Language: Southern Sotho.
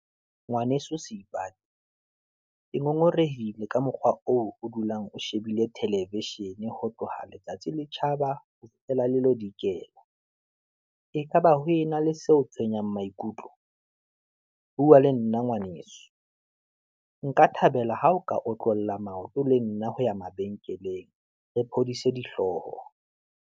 Ngwaneso Seipati, ke ngongorehile ka mokgwa oo o dulang o shebile television-e ho tloha letsatsi le tjhaba, ho fihlela le lo dikela, ekaba ho e e na le seo tshwenyang maikutlo. Bua le nna ngwaneso, nka thabela ha o ka otlolla maoto le nna ho ya mabenkeleng, re phodise dihlooho.